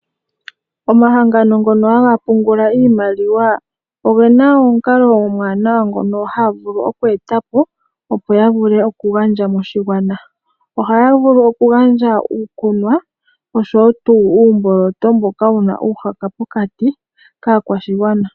Omahangano ngono haga pungula iimaliwa oge na omukalo omuwanawa ngono haya vulu oku eta po, opo ya vule okugandja moshigwana. Ohaya vulu okugandja uukunwa oshowo tuu uumboloto mboka wu na uumuhaka pokati kaakwashigwana.